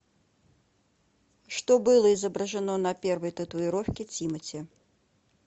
что было изображено на первой татуировки тимати